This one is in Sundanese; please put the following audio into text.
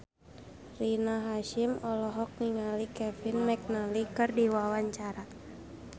Rina Hasyim olohok ningali Kevin McNally keur diwawancara